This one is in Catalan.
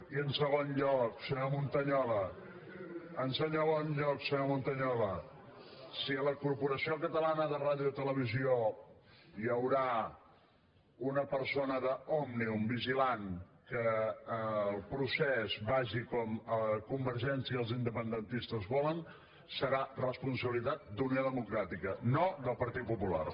i en segon lloc senyor montañola en segon lloc senyor montañola si a la corporació catalana de ràdio i televisió hi haurà una persona d’òmnium vigilant que el procés vagi com a convergència i els independentistes volen serà responsabilitat d’unió democràtica no del partit popular